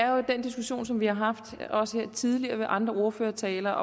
jo den diskussion som vi har haft her også tidligere ved andre ordførertaler